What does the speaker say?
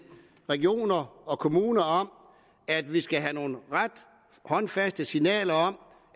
regioner og kommuner om at vi skal have nogle ret håndfaste signaler om